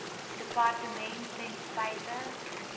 departement ten spyte